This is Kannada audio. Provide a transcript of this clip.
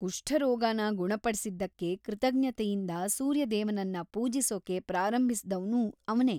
ಕುಷ್ಠರೋಗನ ಗುಣಪಡ್ಸಿದ್ದಕ್ಕೆ ಕೃತಜ್ಞತೆಯಿಂದ ಸೂರ್ಯದೇವನನ್ನ ಪೂಜಿಸೋಕೆ ಪ್ರಾರಂಭಿಸ್ದವ್ನೂ ಅವ್ನೇ.